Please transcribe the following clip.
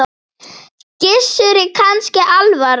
Gissuri kannski alvara.